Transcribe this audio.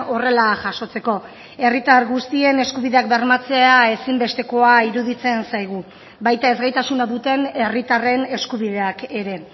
horrela jasotzeko herritar guztien eskubideak bermatzea ezinbestekoa iruditzen zaigu baita ezgaitasuna duten herritarren eskubideak ere